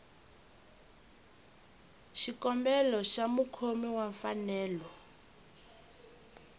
xikombelo xa mukhomi wa mfanelo